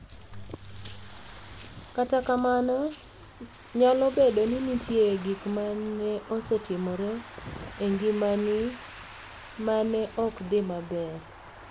Kata kamano, niyalo bedo nii niitie gik ma ni e osetimore e nigimani e ma ni e ok dhi maber.